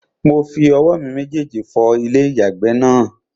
Mo fi owó mi méjèjì fọ ilé-ìyàgbẹ̀ náà